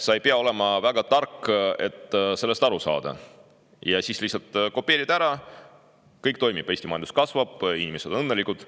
Sa ei pea olema väga tark, et sellest aru saada, lihtsalt kopeerid ja kõik toimib, Eesti majandus kasvab ja inimesed on õnnelikud.